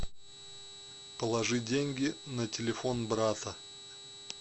положи деньги на телефон брата